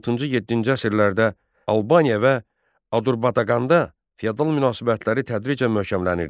Altıncı-yeddinci əsrlərdə Albaniya və Adurbaqanda feodal münasibətləri tədricən möhkəmlənirdi.